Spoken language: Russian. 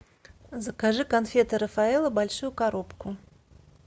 закажи конфеты рафаэлло большую коробку